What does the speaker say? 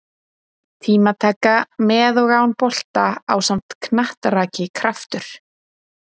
Tímataka með og án bolta ásamt knattraki Kraftur?